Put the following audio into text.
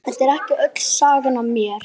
Ó, Guð minn góður, hann leggur hendur á konur.